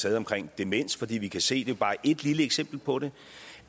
taget omkring demens fordi vi kan se det er bare et lille eksempel på det